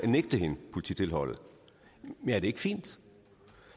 nægte hende polititilholdet er det ikke fint